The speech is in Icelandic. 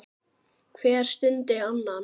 Hver studdi annan.